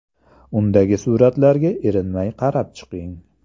Undagi suratlarga erinmay qarab chiqing.